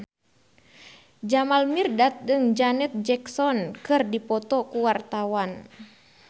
Jamal Mirdad jeung Janet Jackson keur dipoto ku wartawan